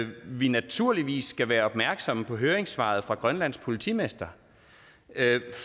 vi naturligvis skal være opmærksomme på høringssvaret fra grønlands politimester